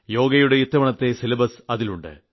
യോഗയുടെ ഇത്തവണത്തെ സിലബസ് അതിലുണ്ട്